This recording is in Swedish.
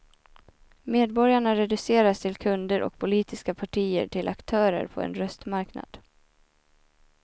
Medborgarna reduceras till kunder och politiska partier till aktörer på en röstmarknad.